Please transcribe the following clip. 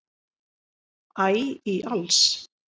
æ í alls